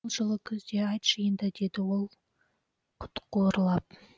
жылы күзде айтшы енді деді ол құтқуырлап